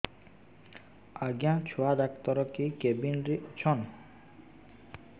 ଆଜ୍ଞା ଛୁଆ ଡାକ୍ତର କେ କେବିନ୍ ରେ ଅଛନ୍